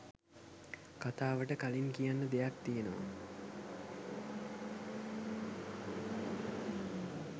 කතාවට කලින් කියන්න දෙයක් තියෙනවා.